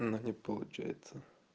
но не получается